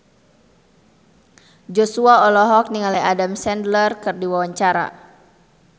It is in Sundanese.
Joshua olohok ningali Adam Sandler keur diwawancara